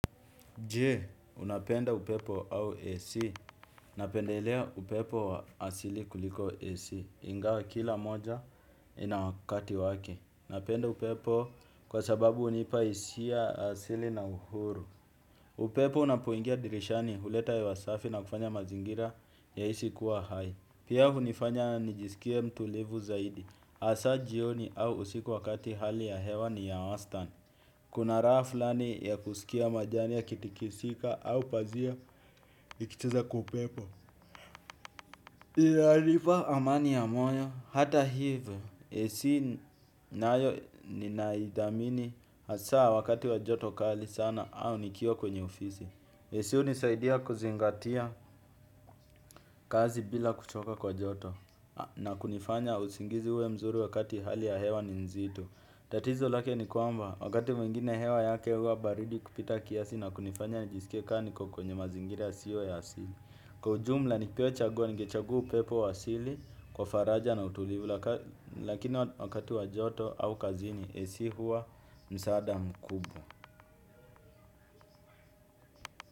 Jee, unapenda upepo au AC. Napendelea upepo wa asili kuliko AC. Ingawa kila moja ina wakati wake. Napenda upepo kwa sababu hunipa hisia asili na huru. Upepo unapoingia dirishani huleta hewa safi na kufanya mazingira ya hisi kuwa hai. Pia hunifanya nijisikia mtulivu zaidi. Hasa jioni au usiku wakati hali ya hewa ni ya wastan. Kuna raha fulani ya kusikia majani ya kitikisika au pazia ikicheza kwa upepo. Inanipa amani ya moyo, hata hivyo. Esi naayo ninaidamini hasaa wakati wa joto kali sana au nikio kwenye ofisi. AC hunisaidia kuzingatia kazi bila kuchoka kwa joto. Na kunifanya usingizi uwe mzuri wakati hali ya hewa ni nzito. Tatizo lake ni kuamba wakati mwingine hewa yake huwa baridi kupita kiasi na kunifanya nijisikia kaa niko kwenye mazingira yasiyo ya asili. Kwa ujumla nipewe chaguo ningechagua upepo wa asili kwa faraja na utulivu lakini wakati wa joto au kazini AC huwa msaada mkubwa.